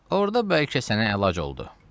Orda bəlkə sənə əlac oldu."